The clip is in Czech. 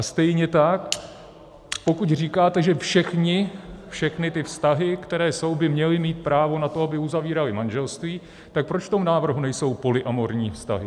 A stejně tak pokud říkáte, že všechny ty vztahy, které jsou, by měly mít právo na to, aby uzavíraly manželství, tak proč v tom návrhu nejsou polyamorní vztahy?